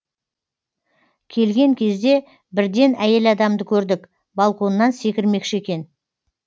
келген кезде бірден әйел адамды көрдік балконнан секірмекші екен